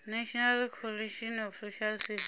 national coalition of social services